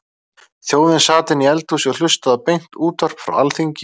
Þjóðin sat inni í eldhúsi og hlustaði á beint útvarp frá Alþingi.